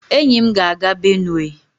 enyi m ga-aga Benue